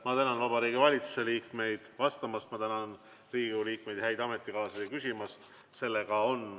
Ma tänan Vabariigi Valitsuse liikmeid vastamast ja ma tänan Riigikogu liikmeid, häid ametikaaslasi küsimast.